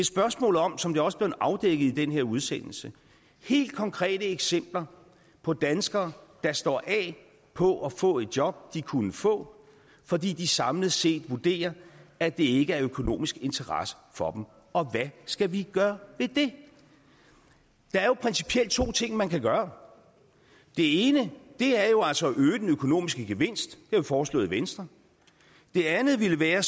spørgsmål om som det også blev afdækket i den her udsendelse helt konkrete eksempler på danskere der står af på at få et job de kunne få fordi de samlet set vurderer at det ikke er af økonomisk interesse for og hvad skal vi gøre ved det der er principielt to ting man kan gøre det ene er jo altså at øge den økonomiske gevinst det har vi foreslået i venstre det andet ville være